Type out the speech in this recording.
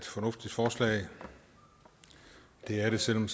fornuftigt forslag det er det selv om